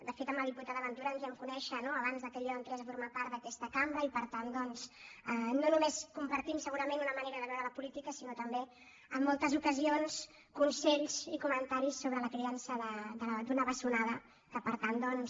de fet amb la diputada ventura ens vam conèixer no abans que jo entrés a formar part d’aquesta cambra i per tant doncs no només compartim segurament una manera de veure la política sinó també en moltes ocasions consells i comentaris sobre la criança d’una bessonada que per tant doncs